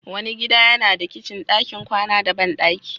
Wani gida yana da kicin, ɗakin kwana da bandaki.